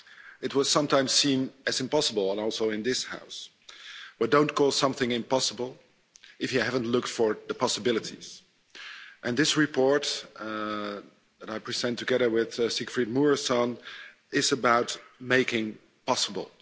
It was sometimes seen as impossible, and also in this House, but don't call something impossible if you haven't looked for the possibilities and this report and I present together with Siegfried Mureşan is about making possible.